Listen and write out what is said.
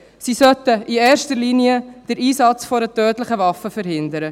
Sie sollten in erster Linie den Einsatz einer tödlichen Waffe verhindern.